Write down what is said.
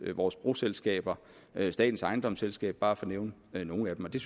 er vores broselskaber der er statens ejendomsselskab for bare at nævne nogle af dem og det